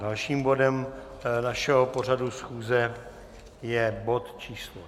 Dalším bodem našeho pořadu schůze je bod číslo